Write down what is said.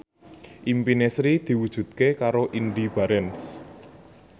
impine Sri diwujudke karo Indy Barens